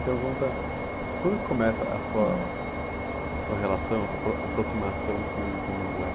Então conta, quando que começa a sua, a sua relação, a sua apro, aproximação com o candomblé?